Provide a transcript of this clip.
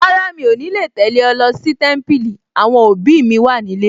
Rárá, mi ò ní lè tẹ̀lé ẹ lọ sí Témípìlì, àwọn òbí mi wà nílé